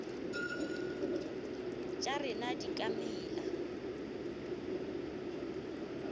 tša rena di ka mela